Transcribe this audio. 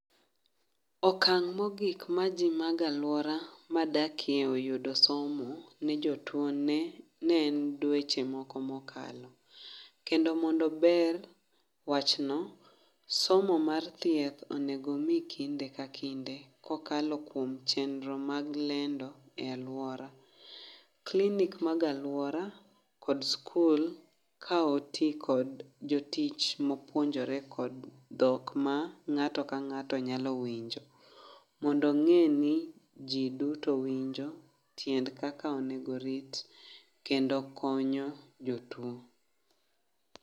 Okang' mogik ma ji mag alwora madakie oyudo somo ne jotuone, ne en dweche moko mokalo. Kendo bende ber wachno somo mar thieth onego mi kinde ka kinde, kokalo kuom chndro mag lendo e alwora. Klinik mag alwora kod skul ka oti kod jotich ma opuonjore kod dhok ma ng'ato ka ng'ato nyalo winjo. Mondo ng'e ni ji duto winjo tiend kaka onego orit kendo konyo jotuo.